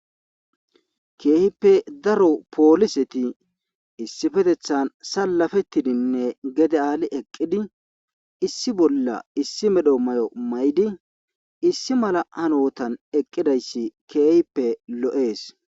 Keehippe daro pooliseti issi fetethan salafettidinne gede aali eqqidi issi bolla issi medho may7o may7di issi mala hanotan eqqidayssi keehippe lo7ees.